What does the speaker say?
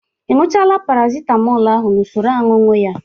Ị ñụchaala Paracitamọl ahụ n'usoro ọñụñụ ya?